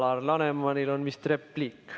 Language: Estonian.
Alar Lanemanil on vist repliik.